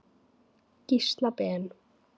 Gísla Ben.